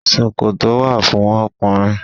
Ṣòkòtò wà fún ọkùnrin.